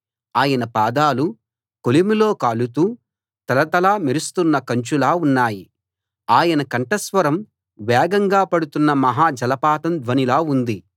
ఆయన పాదాలు కొలిమిలో కాలుతూ తళతళ మెరుస్తున్న కంచులా ఉన్నాయి ఆయన కంఠ స్వరం వేగంగా పడుతున్న మహా జలపాతం ధ్వనిలా ఉంది